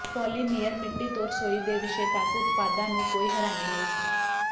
polymer ਮਿੱਟੀ ਤੋਂ ਰਸੋਈ ਦੇ ਵਿਸ਼ੇ ਤਕ ਉਤਪਾਦਾਂ ਨੂੰ ਕੋਈ ਹੈਰਾਨੀ ਨਹੀਂ ਹੈ